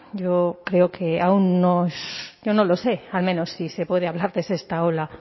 yo creo que aun no es yo no lo sé al menos si se puede hablar de sexta ola